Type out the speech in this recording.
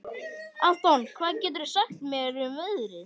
Anton, hvað geturðu sagt mér um veðrið?